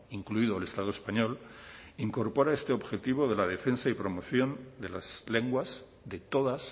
incluido el estado español incorpora este objetivo de la defensa y promoción de las lenguas de todas